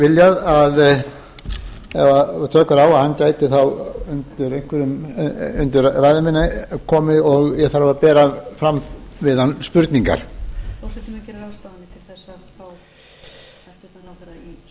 viljað ef tök eru á að hann gæti þá undir ræðu minni komið og ég þarf að bera fram við hann spurningar forseti mun gera ráðstafanir til þess að